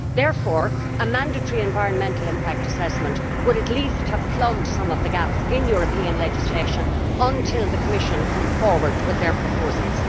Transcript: Therefore, a mandatory environmental impact assessment would at least have plugged some of the gaps in European legislation until the Commission came forward with their proposals.